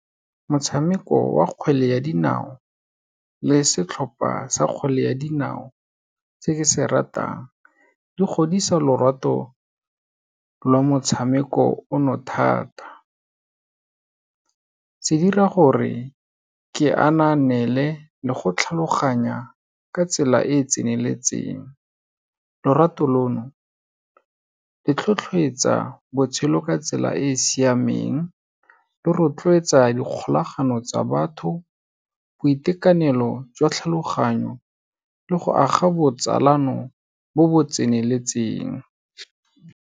Motshameko wa kgwele ya dinao le setlhopha sa kgwele ya dinao tse ke se ratang, di godisa lorato lwa motshameko o no thata. Se dira gore ke ananeele le go tlhaloganya ka tsela e tseneletseng, lorato lono, le tlhotlheletsa botshelo ka tsela e siameng, le rotloetsa dikgolagano tsa batho, boitekanelo jwa tlhaloganyo le go aga botsalano bo bo tseneletseng.